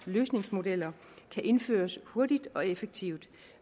løsningsmodeller kan indføres hurtigt og effektivt